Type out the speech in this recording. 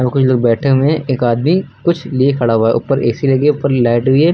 और कुछ लोग बैठे हुए हैं एक आदमी कुछ लिए खड़ा हुआ है ऊपर ए_सी लगी है ऊपर लाइट भी है।